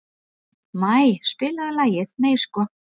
Maj, spilaðu lagið „Nei sko“.